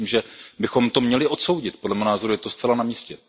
Já myslím, že bychom to měli odsoudit, podle mého názoru je to zcela na místě.